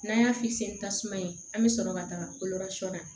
N'an y'a ni tasuma ye an bɛ sɔrɔ ka taga na